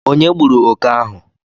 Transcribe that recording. Onye gburu oke ahu?